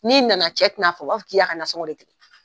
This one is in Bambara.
N'i nana cɛ te na fanu , a b'a fɔ k'i ya ka nansɔngɔ de